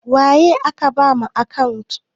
Waye aka ba ma akantat?